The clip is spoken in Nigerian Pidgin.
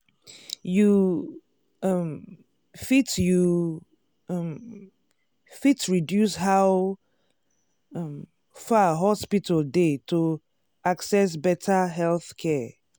you um fit you um fit reduce how um far hospital dey to access better healthcare.